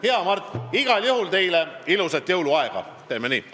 Hea Mart, igal juhul ilusat jõuluaega teile!